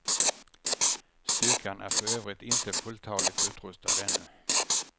Styrkan är för övrigt inte fulltaligt utrustad ännu.